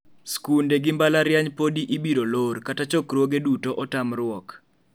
Skunde gi mbalariany podi ibiro lor kata chokruoge duto otamruok.